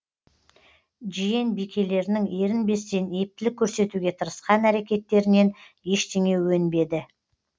жиен бикелерінің ерінбестен ептілік көрсетуге тырысқан әрекеттерінен ештеңе өнбеді